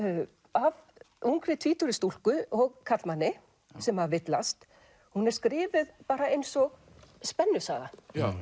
af ungri tvítugri stúlku og karlmanni sem villast hún er skrifuð eins og spennusaga